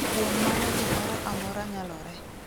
Kuom mano gimoro amora nyalore.